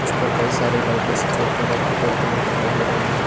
इस पर कई सारी लाइटें सफेद कलर की जलती हुए दिखाई दे रही हैं।